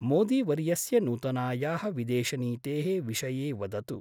मोदी वर्यस्य नूतनायाः विदेशनीतेः विषये वदतु।